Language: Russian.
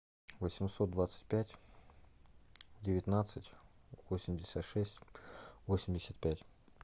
восемьсот двадцать пять девятнадцать восемьдесят шесть восемьдесят пять